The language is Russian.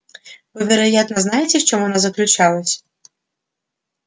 вы вероятно знаете в чём она заключалась